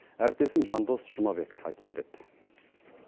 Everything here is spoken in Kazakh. әріптесім жандос жұмабек айтып береді